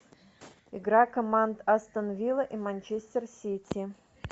игра команд астон вилла и манчестер сити